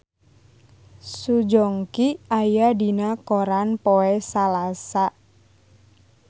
Song Joong Ki aya dina koran poe Salasa